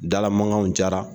Dalamankanw cayara